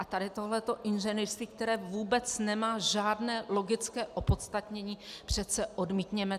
A tady tohleto inženýrství, které vůbec nemá žádné logické opodstatnění, přece odmítněme!